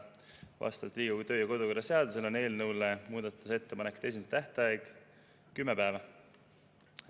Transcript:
Vastavalt Riigikogu kodu- ja töökorra seadusele on eelnõu muudatusettepanekute esitamise tähtaeg kümme päeva.